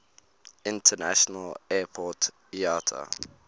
international airport iata